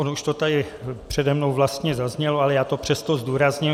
Ono už to tady přede mnou vlastně zaznělo, ale já to přesto zdůrazním.